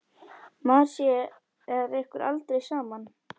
Maður sér ykkur aldrei saman.